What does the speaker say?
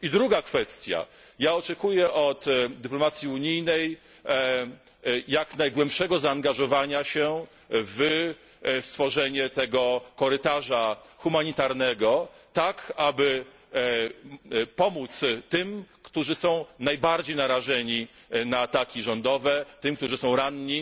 Druga kwestia oczekuję od dyplomacji unijnej jak najgłębszego zaangażowania się w stworzenie tego korytarza humanitarnego, tak aby pomóc tym, którzy są najbardziej narażeni na ataki rządowe, tym, którzy są ranni,